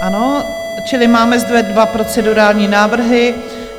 Ano, čili máme zde dva procedurální návrhy.